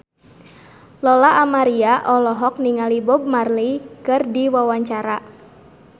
Lola Amaria olohok ningali Bob Marley keur diwawancara